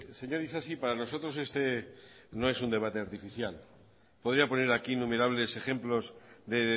señor isasi para nosotros este no es un debate artificial podría poner aquí innumerables ejemplos de